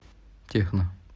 техно